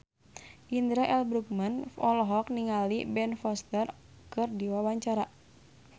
Indra L. Bruggman olohok ningali Ben Foster keur diwawancara